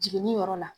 Jiginni yɔrɔ la